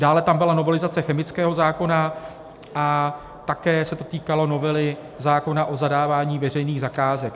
Dále tam byla novelizace chemického zákona a také se to týkalo novely zákona o zadávání veřejných zakázek.